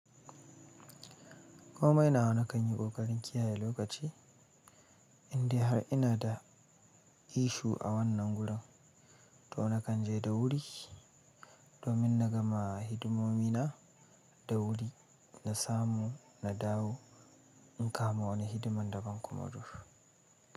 Komai nawa na kan yi ƙoƙari in kiyaye lokaci, indai har ina da ishu a wannan gurin, to na kan je da wuri domin na ga ma hidimomi na da wuri na samu na dawo in kama wani hidimar daban kuma dur.